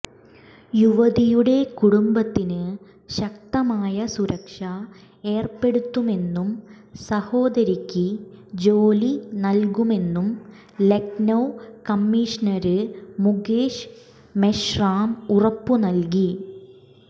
യുവതിയുടെ കുടുംബത്തിന് ശക്തമായ സുരക്ഷ ഏര്പ്പെടുത്തുമെന്നും സഹോദരിക്ക് ജോലി നല്കുമെന്നും ലഖ്നൌ കമ്മീഷണര് മുകേഷ് മെഷ്റാം ഉറപ്പുനല്കി